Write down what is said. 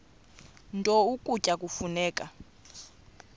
nto ukutya kufuneka